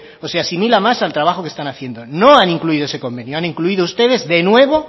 o se asimila más al trabajo que están haciendo no han incluido ese convenio han incluido ustedes de nuevo